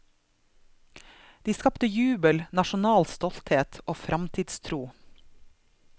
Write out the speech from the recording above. De skapte jubel, nasjonal stolthet og fremtidstro.